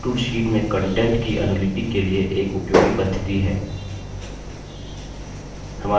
fill tool fill tool sheet में contents की अनुलिपि के लिए एक उपयोगी पद्धति है